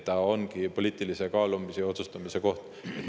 See ongi poliitilise kaalumise ja otsustamise koht.